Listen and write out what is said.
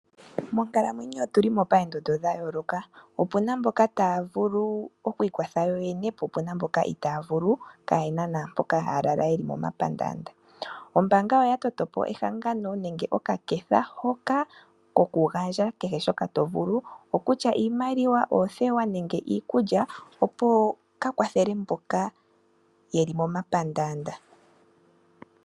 Monkalamwenyo otu li poondondo dha yooloka. Opuna mboka taya vulu okwii kwathela yo yene po opuna mboka itaaya vulu kaayena naampoka taya lala ye li momapandaanda. Ombaanga oya toto po ehangano nenge oka ketha koku gandja kehe shoka to vulu okutya iikulya, oothewa nenge iikutu opo ka kwathele mboka ye li momapandaanda.